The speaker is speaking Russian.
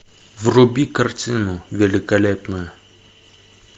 вруби картину великолепную